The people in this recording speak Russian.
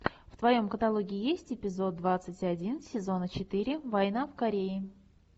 в твоем каталоге есть эпизод двадцать один сезона четыре война в корее